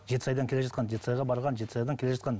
жетісайдан келе жатқан жетісайға барған жетісайдан келе жатқан